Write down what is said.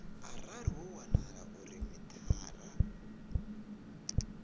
arali ho wanala uri mithara